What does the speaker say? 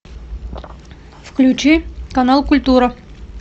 включи канал культура